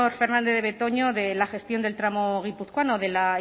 fernandez de betoño de la gestión del tramo guipuzcoano de la